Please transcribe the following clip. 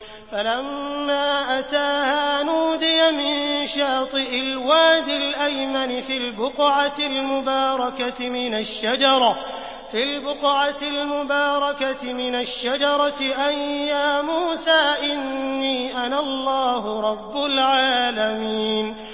فَلَمَّا أَتَاهَا نُودِيَ مِن شَاطِئِ الْوَادِ الْأَيْمَنِ فِي الْبُقْعَةِ الْمُبَارَكَةِ مِنَ الشَّجَرَةِ أَن يَا مُوسَىٰ إِنِّي أَنَا اللَّهُ رَبُّ الْعَالَمِينَ